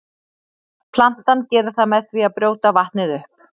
Plantan gerir það með því að brjóta vatnið upp.